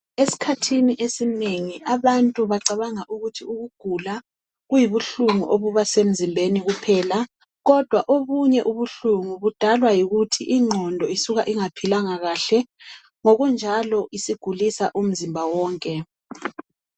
Esikhathini esinengi abantu bacabanga ukuthi ukugula kuyibuhlungu obuba semzimbeni kuphela. Kodwa obunye ubuhlungu budalwa yikuthi ingqondo isuka ingaphilanga kahle ngokunjalo isigulisa umzimba wonke.